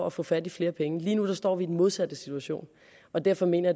at få fat i flere penge lige nu står vi i den modsatte situation og derfor mener